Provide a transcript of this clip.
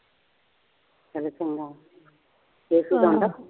ਕਦੇ ਫੋਨ ਕੇਸ਼ਵ ਦਾ ਆਉਂਦਾ